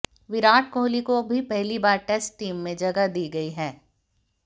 विराट कोहली को भी पहली बार टेस्ट टीम में जगह दी गई है